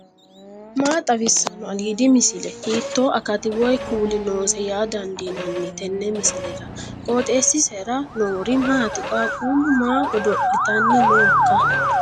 maa xawissanno aliidi misile ? hiitto akati woy kuuli noose yaa dandiinanni tenne misilera? qooxeessisera noori maati ? qaaqquullu maa godo'litanni nooikka